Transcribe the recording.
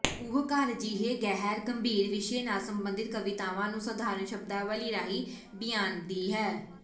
ਉਹ ਘਰ ਜਿਹੇ ਗਹਿਰ ਗੰਭੀਰ ਵਿਸ਼ੇ ਨਾਲ ਸਬੰਧਿਤ ਕਵਿਤਾਵਾਂ ਨੂੰ ਸਾਧਾਰਨ ਸ਼ਬਦਾਵਲੀ ਰਾਹੀਂ ਬਿਆਨਦੀ ਹੈ